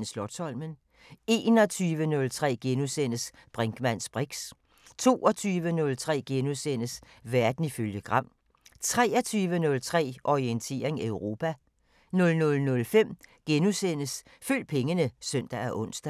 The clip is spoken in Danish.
20:03: Slotsholmen * 21:03: Brinkmanns briks * 22:03: Verden ifølge Gram * 23:03: Orientering Europa 00:05: Følg pengene *(søn og ons)